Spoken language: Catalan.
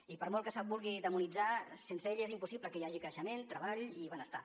i per molt que se’l vulgui demonitzar sense ell és impossible que hi hagi creixement treball i benestar